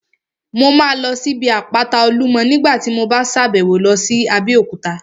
Mo máa lọ sí ibi àpáta Olúmọ ní nígbàtí mo bá sàbẹ̀wo lọ sí Abéòkúta